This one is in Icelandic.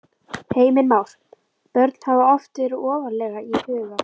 Heimir Már: Börn hafa oft verið ofarlega í huga?